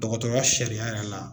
Dɔgɔtɔrɔya sariya yɛrɛ la.